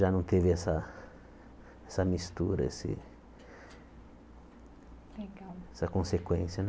já não teve essa essa mistura, esse essa consequência né.